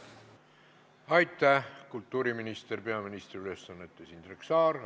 Aitäh, kultuuriminister peaministri ülesannetes Indrek Saar!